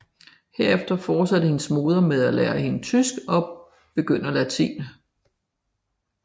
Herefter fortsatte hendes moder med at lære hende tysk og begynder latin